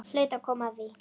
Hlaut að koma að því.